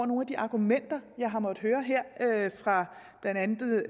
nogle af de argumenter jeg har måttet høre her fra blandt andet